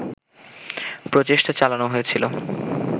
প্রচেষ্টা চালানো হয়েছিল